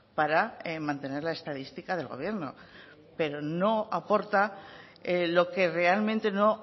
para mantener la estadística del gobierno pero no aporta lo que realmente no